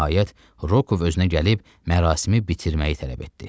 Nəhayət, Rokov özünə gəlib mərasimi bitirməyi tələb etdi.